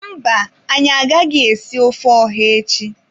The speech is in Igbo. Mba, anyị agaghị esi ofe ọha echi.